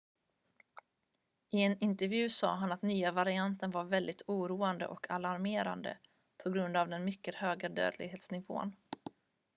"i en intervju sade han att den nya varianten var "väldigtt oroande och alarmerande på grund av den mycket höga dödlighetsnivån.""